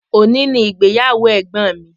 Òní ni ìgbéyàwó ẹ̀gbọ́n mi.